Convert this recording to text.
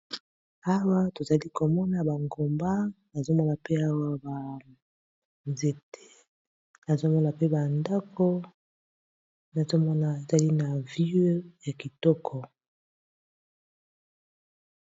Awa tozali komona bangomba azomona mpe awa banzete azomona pe bandako nazomona ezali na vie ya kitoko